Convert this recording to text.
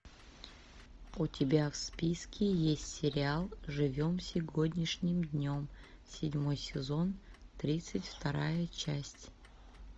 у тебя в списке есть сериал живем сегодняшним днем седьмой сезон тридцать вторая часть